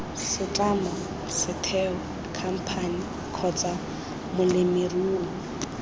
setlamo setheo khamphane kgotsa molemirui